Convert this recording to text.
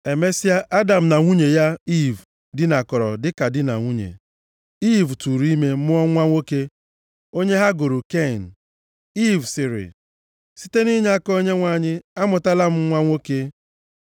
Emesịa, Adam na nwunye ya Iiv dinakọrọ dịka di na nwunye. Iiv tụụrụ ime mụọ nwa nwoke, onye ha gụrụ Ken. Iiv sịrị, “Site nʼinyeaka Onyenwe anyị, amụtala m nwa nwoke!”